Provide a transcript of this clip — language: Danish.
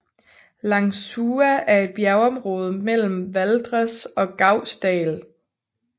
Langsua er et bjergområde mellem Valdres og Gausdal